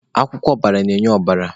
Akwụkwọ ọbara na-enye ọbara.